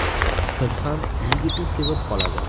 Qiz ham yigitni sevib qoladi.